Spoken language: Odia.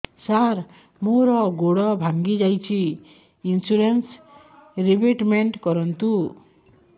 ସାର ମୋର ଗୋଡ ଭାଙ୍ଗି ଯାଇଛି ଇନ୍ସୁରେନ୍ସ ରିବେଟମେଣ୍ଟ କରୁନ୍ତୁ